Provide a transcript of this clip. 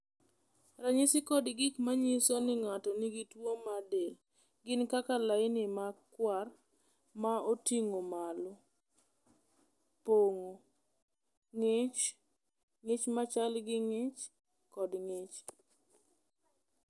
"Ranyisi kod gik ma nyiso ni ng’ato nigi tuwo mar del gin kaka laini makwar ma oting’o malo, pong’o, ng’ich, ng’ich ma chal gi ng’ich kod ng’ich."